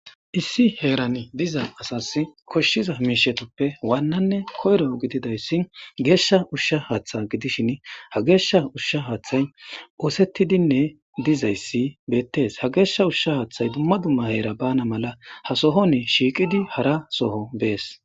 issi heerani diza asas koshshiza miishetippe waannanne koyro gididayssi geeshsha ushsha haaththa gidishin ha geeshsha ushsha haaththay oosettidinne dizayssi beettes ha geeshsha ushsha haaththay dumma dumma heera bana mala ha sohon shiiqidi hara soho bees